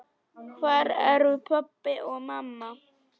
Hvar eru pabbi og mamma?